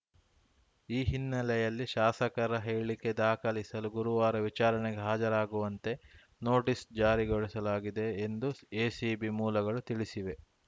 ಈ ಹಿನ್ನೆಲೆಯಲ್ಲಿ ಶಾಸಕರ ಹೇಳಿಕೆ ದಾಖಲಿಸಲು ಗುರುವಾರ ವಿಚಾರಣೆಗೆ ಹಾಜರಾಗುವಂತೆ ನೋಟಿಸ್‌ ಜಾರಿಗೊಳಿಸಲಾಗಿದೆ ಎಂದು ಎಸಿಬಿ ಮೂಲಗಳು ತಿಳಿಸಿವೆ